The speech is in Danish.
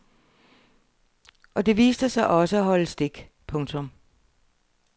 Og det viste sig også at holde stik. punktum